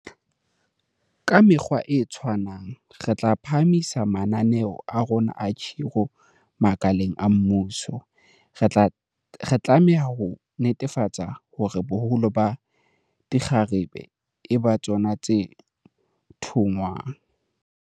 Ka mekgwa e tshwanang, re tla phahamisa mananeo a rona a khiro makaleng a mmuso, re tlameha ho netefatsa hore boholo ba dikgarabe e ba tsona tse thongwang.